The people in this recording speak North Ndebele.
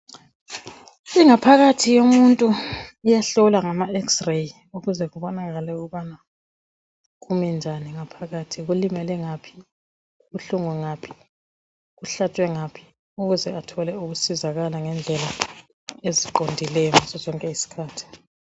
ingaphakathi yomuntu iyahlolwa ngama x ray kubonakale ukubana kume njani ngaphakathi kulimele ngaphi kubuhlungu ngaphi kuhlatshwe ngaphi ukuze athole ukusizakala ngendlela eziqondileyo ngazo zonke izikhathi